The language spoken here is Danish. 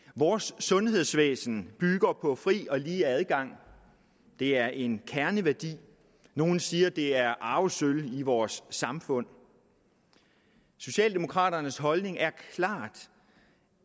vores sundhedsvæsen bygger på fri og lige adgang det er en kerneværdi nogle siger at det er arvesølvet i vores samfund socialdemokraternes holdning er klart